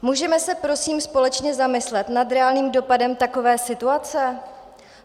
Můžeme se prosím společně zamyslet nad reálným dopadem takové situace?